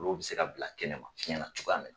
Olu bɛ se ka bila kɛnɛma fiɲɛ na cogoya mina